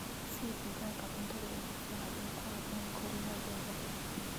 Sii digaagga cuntada ugu fiican ee ku habboon koriimadooda.